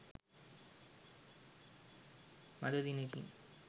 මඳ දිනෙකින්